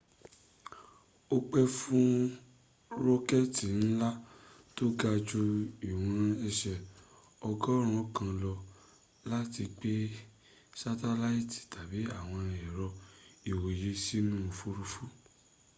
o pẹ fún rọkẹtì nla tó ga jù ìwọ̀n ẹsẹ́ ọgọ́rùn kan lọ láti gbẹ satelaiti tábì àwọn ẹ̀rọ́ ìwòyẹ sínú òfuruufú